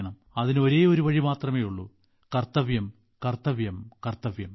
അതിനു ഒരേയൊരു വഴി മാത്രമേയുള്ളൂ കർത്തവ്യം കർത്തവ്യം കർത്തവ്യം